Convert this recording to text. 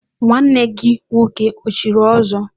Nwanne gị nwoke o chiri ọzọ?